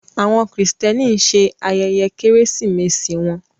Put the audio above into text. Àwọn Kristẹni ń ṣe ayẹyẹ keresimesi wọn